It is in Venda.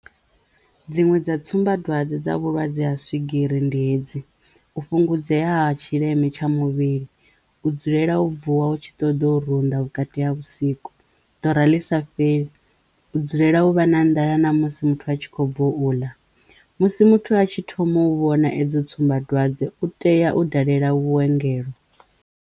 Dziṅwe dza tsumbadwadze dza vhulwadze ha swigiri ndi hedzi u fhungudzea ha tshileme tsha muvhili, u dzulela u vuwa u tshi ṱoḓa u runda vhukati ha vhusiku, ḓora ḽi sa fheli, u dzulela u vha na nḓala na musi muthu a tshi kho bvo u ḽa musi muthu atshi thoma u vhona edzo tsumbadwadze u tea u dalela vhuongelo.